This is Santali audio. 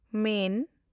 ᱢᱮᱱ